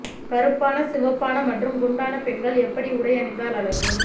கருப்பான சிவப்பான மற்றும் குண்டான பெண்கள் எப்படி உடை அணிந்தால் அழகு